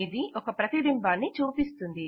ఇది ఒక ప్రతిబింబాన్ని చూపిస్తుంది